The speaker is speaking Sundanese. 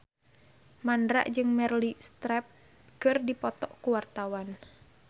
Mandra jeung Meryl Streep keur dipoto ku wartawan